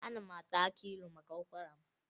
Ana m ata akị ilu maka ụkwara m